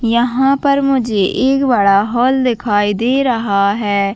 यहाँ पर मुझे एक बड़ा हॉल दिखाई दे रहा है।